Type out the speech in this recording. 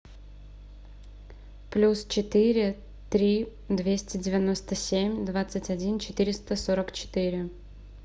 плюс четыре три двести девяносто семь двадцать один четыреста сорок четыре